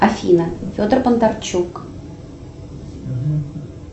афина федор бондарчук